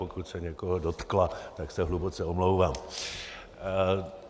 Pokud se někoho dotkla, tak se hluboce omlouvám.